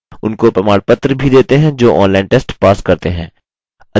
उनको प्रमाणपत्र भी देते हैं जो online test pass करते हैं